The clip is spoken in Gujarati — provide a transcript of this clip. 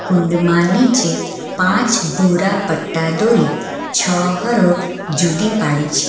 કુંડમાં નીચે પાંચ ભૂરા પટ્ટા દોરી છ હરોળ જુદી પાડી છે.